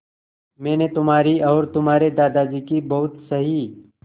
मैंने तुम्हारी और तुम्हारे दादाजी की बहुत सही